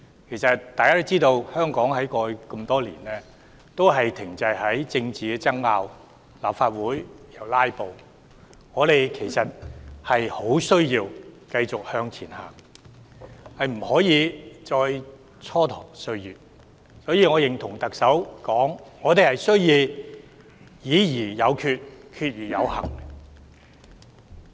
大家都知道，香港多年來都停滯在政治爭拗和立法會"拉布"，我們十分需要向前邁進，不能繼續蹉跎歲月，所以我認同特首所說，我們要"議而有決、決而有行"。